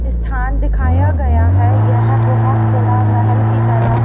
स्थान दिखाया गया है यह बहोत बड़ा महल की तरह--